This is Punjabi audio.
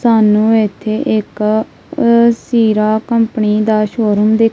ਸਾਨੂੰ ਏੱਥੇ ਇੱਕ ਸੀਰਾ ਕੰਪਨੀ ਦਾ ਸ਼ੋਰੂਮ ਦਿੱਖ--